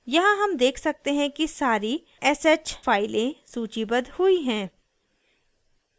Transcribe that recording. यहाँ हम देख सकते हैं कि सारी sh files सूचीबद्ध हुई हैं